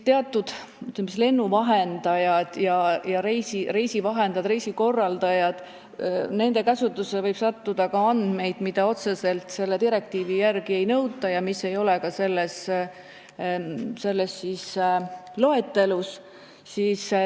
Teatud, ütleme, lennuvahendajate, reisivahendajate, reisikorraldajate käsutusse võib sattuda ka andmeid, mida otseselt selle direktiivi järgi ei nõuta ja mis ei ole ka selles loetelus.